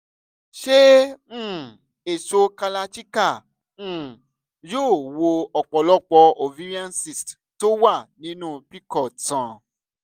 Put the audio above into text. ṣé um èso kalarchikai um yóò wo ọ̀pọ̀lọpọ̀ ovarian cysts tó wà nínú pcod sàn?